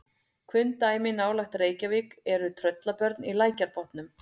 Kunn dæmi nálægt Reykjavík eru Tröllabörn í Lækjarbotnum.